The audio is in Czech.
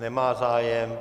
Nemá zájem.